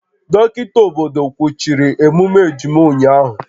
Dọkịta obodo ahụ kwụchiri emume ejima ụnyahụ